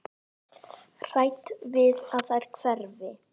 Hrædd við að þær hverfi.